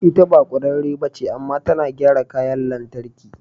Ita ba kwararre ba ce, amma tana gyara kayan lantarki.